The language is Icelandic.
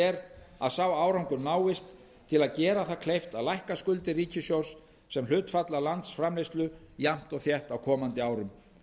er að sá árangur náist til að gera það kleift að lækka skuldir ríkissjóðs sem hlutfall af landsframleiðslu jafnt og þétt á komandi árum